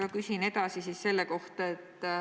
Ma küsin edasi sellise asja kohta.